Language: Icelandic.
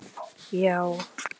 Og á hann.